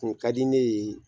Kun kadi ne ye